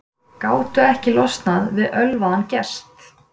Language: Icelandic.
Gátu ekki losnað við ölvaðan gest